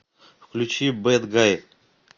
включи бэд гай